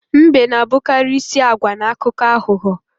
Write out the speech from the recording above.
Mbe na-abụkarị isi agwa na akụkọ aghụghọ